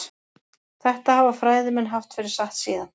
Þetta hafa fræðimenn haft fyrir satt síðan.